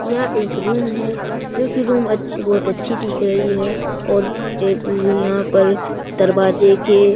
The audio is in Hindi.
यह एक रूम है जो कि रूम अच्छी बहुत अच्छी दिख रही है और यहां पे दरवाजे के --